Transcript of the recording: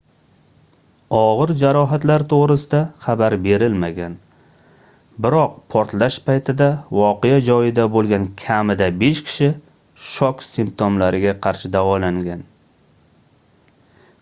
ogʻir jarohatlar toʻgʻrisida xabar berilmagan biroq portlash paytida voqea joyida boʻlgan kamida besh kishi shok simtomlariga qarshi davolangan